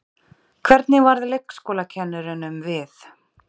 Hvernig varð leikskólakennurunum við?